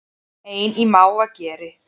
Ein í mávageri